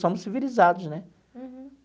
Somos civilizados, né?